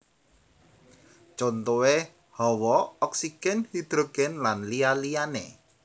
Contohé Hawa oksigèn hidrogèn lan liya liyané